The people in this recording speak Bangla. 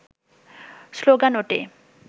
স্লোগান ওঠে